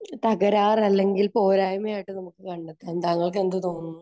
തകരാറല്ലെങ്കിൽ പോരായ്മയായിട്ട് നമുക്ക് കണ്ടെത്താം. താങ്കൾക്കെന്ത് തോന്നുന്നു?